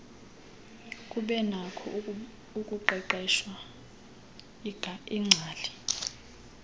kubenakho ukuqeqeshwa iingcali